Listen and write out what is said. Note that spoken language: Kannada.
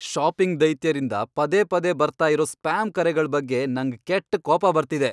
ಷಾಪಿಂಗ್ ದೈತ್ಯರಿಂದ ಪದೇ ಪದೇ ಬರ್ತಾ ಇರೋ ಸ್ಪ್ಯಾಮ್ ಕರೆಗಳ್ ಬಗ್ಗೆ ನಂಗ್ ಕೆಟ್ಟ್ ಕೋಪ ಬರ್ತಿದೆ.